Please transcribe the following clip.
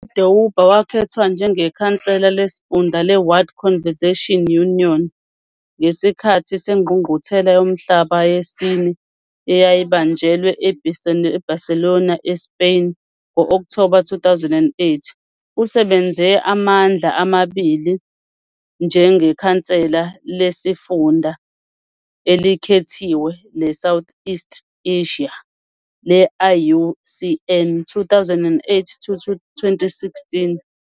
U-Deuba wakhethwa njengekhansela lesifunda le-World Conservation Union ngesikhathi sengqungquthela yomhlaba yesine eyayibanjelwe e-Barcelona, ​​e-Spain ngo-Okthoba 2008. Usebenze amandla amabili njengekhansela lesifunda elikhethiwe le-South and East Asia le-IUCN, 2008 - 2016.